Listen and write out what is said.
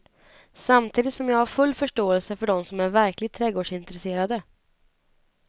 Samtidigt som jag har full förståelse för de som är verkligt trädgårdsintresserade.